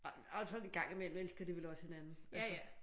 Og så en gang i mellem elsker de vel også hinanden? Altså